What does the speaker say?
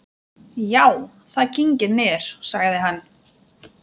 Já, það kyngir niður, sagði hann.